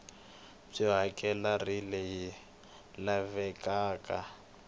byo hakela r leyi lavekaka